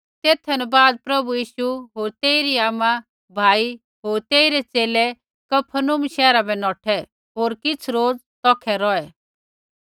तेथा न बाद प्रभु यीशु होर तेइरी आमा भाई होर तेइरै च़ेले कफरनहूम शैहरा बै नौठै होर किछ़ रोज तौखै रौहै